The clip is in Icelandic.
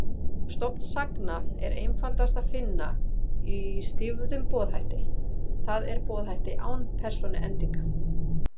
Stofn sagna er einfaldast að finna í stýfðum boðhætti, það er boðhætti án persónuendinga.